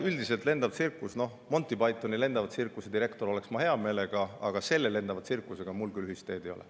Ja noh, Monty Pythoni lendava tsirkuse direktor oleksin ma hea meelega, aga selle lendava tsirkusega mul küll ühist teed ei ole.